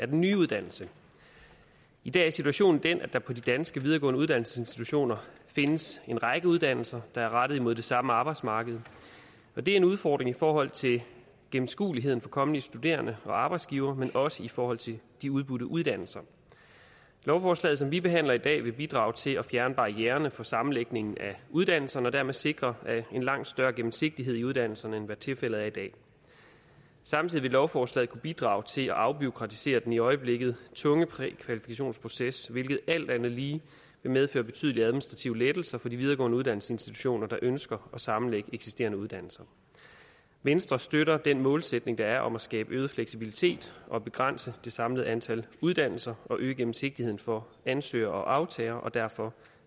den nye uddannelse i dag er situationen den at der på de danske videregående uddannelsesinstitutioner findes en række uddannelser der er rettet imod det samme arbejdsmarked og det er en udfordring i forhold til gennemskueligheden for kommende studerende og arbejdsgivere men også i forhold til de udbudte uddannelser lovforslaget som vi behandler i dag vil bidrage til at fjerne barriererne for sammenlægningen af uddannelserne og dermed sikre en langt større gennemsigtighed i uddannelserne end hvad tilfældet er i dag samtidig vil lovforslaget kunne bidrage til at afbureaukratisere den i øjeblikket tunge prækvalifikationsproces hvilket alt andet lige vil medføre betydelige administrative lettelser for de videregående uddannelsesinstitutioner der ønsker at sammenlægge eksisterende uddannelser venstre støtter den målsætning der er om at skabe øget fleksibilitet og begrænse det samlede antal uddannelser og øge gennemsigtigheden for ansøgere og aftagere og derfor